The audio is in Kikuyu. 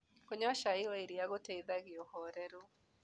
Kũnyua cai wa ĩrĩa gũteĩthagĩa ũhorerũ